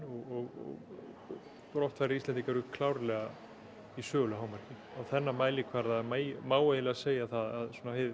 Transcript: og brottfarir Íslendinga eru klárlega í sögulegu hámarki á þennan mælikvarða má eiginlega segja að